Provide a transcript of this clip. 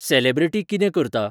Celebrity कितें करता?